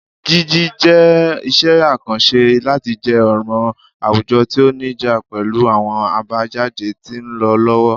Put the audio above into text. Jiji jẹ iṣẹ akanṣe lati jẹ ọran awujọ ti o nija pẹlu awọn abajade ti nlọ lọwọ.